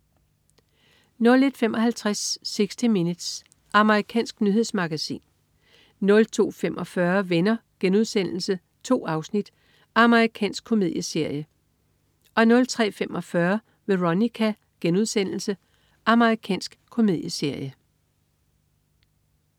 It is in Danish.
01.55 60 Minutes. Amerikansk nyhedsmagasin 02.45 Venner.* 2 afsnit. Amerikansk komedieserie 03.45 Veronica.* Amerikansk komedieserie